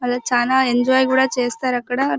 ఆలు చాలా ఎంజాయ్ కూడా చేస్తారక్కడ.